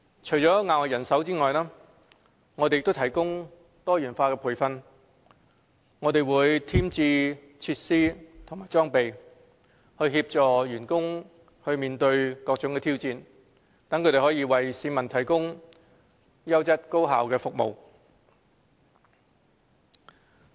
除了額外人手，我們亦提供多元化培訓，添置設施和裝備，協助員工面對各種挑戰，為市民提供優質高效的服務。